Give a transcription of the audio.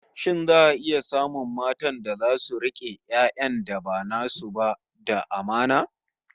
Shin za'a iya samun matan da zasu rike 'yan'yan da ba nasu ba da amana?